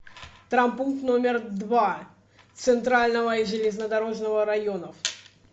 травмпункт номер два центрального и железнодорожного районов